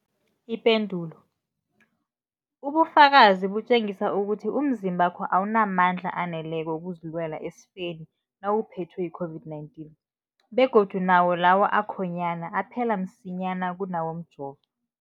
Ipendulo, ubufakazi butjengisa ukuthi umzimbakho awunamandla aneleko wokuzilwela esifeni nawuphethwe yi-COVID-19, begodu nawo lawo akhonyana aphela msinyana kunawomjovo.